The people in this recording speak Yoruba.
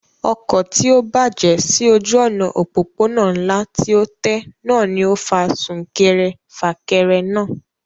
Ọkọ̀ tí ó bàjẹ́ sí ojú òná òpópónà ńlá tí ó tẹ́ náà ni ó fa súnkẹrẹ fàkẹrẹ náà